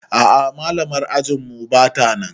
A'a malamar ajinmu batanan